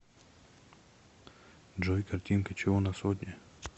джой картинка чего на сотне